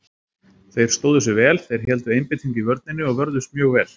Þeir stóðu sig vel, þeir héldu einbeitingu í vörninni og vörðust mjög vel.